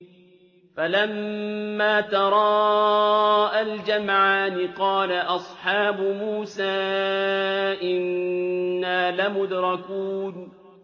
فَلَمَّا تَرَاءَى الْجَمْعَانِ قَالَ أَصْحَابُ مُوسَىٰ إِنَّا لَمُدْرَكُونَ